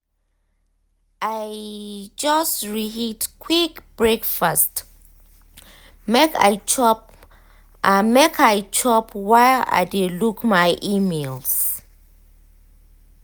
i just reheat quick breakfast make i chop make i chop while i dey look my emails.